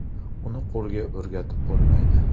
Uni qo‘lga o‘rgatib bo‘lmaydi.